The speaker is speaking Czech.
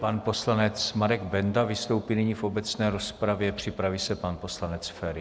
Pan poslanec Marek Benda vystoupí nyní v obecné rozpravě., připraví se pan poslanec Feri.